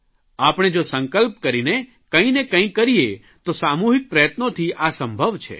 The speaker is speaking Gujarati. આપણે જો સંકલ્પ કરીને કંઇક ને કંઇક કરીએ તો સામૂહિક પ્રયત્નોથી આ સંભવ છે